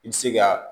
I bɛ se ka